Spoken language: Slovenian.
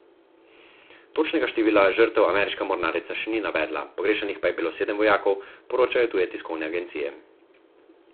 Točnega števila žrtev ameriška mornarica še ni navedla, pogrešanih pa je bilo sedem vojakov, poročajo tuje tiskovne agencije.